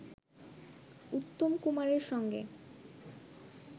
উত্তম কুমারের সঙ্গে